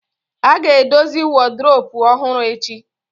A ga-edozi woduropu ọhụrụ echi